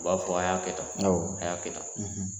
U b'a fɔ a y'a kɛ tan a y'a kɛ tan